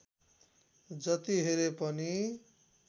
जति हेरे पनि